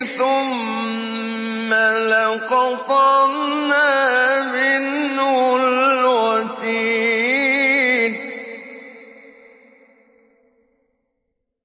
ثُمَّ لَقَطَعْنَا مِنْهُ الْوَتِينَ